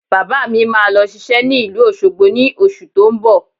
Bàbá mi máa lọ ṣiṣẹ́ ní ìlú Òṣogbo ní oṣù tó ń bọ̀